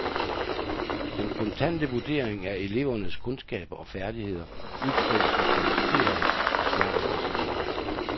Den kontante vurdering af elevernes kundskaber og færdigheder udtrykkes i karakterer og snart også i ord.